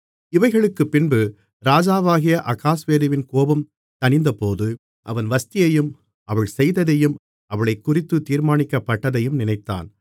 இவைகளுக்குப்பின்பு ராஜாவாகிய அகாஸ்வேருவின் கோபம் தணிந்தபோது அவன் வஸ்தியையும் அவள் செய்ததையும் அவளைக்குறித்துத் தீர்மானிக்கப்பட்டதையும் நினைத்தான்